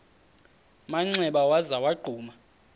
manxeba waza wagquma